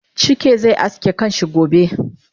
Chike ze aske kanshi gobe